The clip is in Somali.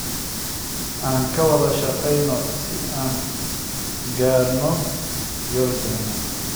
Aan ka wada shaqayno si aan u gaarno yoolkeena.